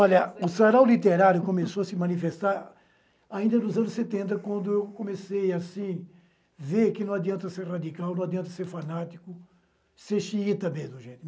Olha, o sarau literário começou a se manifestar ainda nos anos setenta, quando eu comecei, assim, ver que não adianta ser radical, não adianta ser fanático, ser xiita mesmo, gente.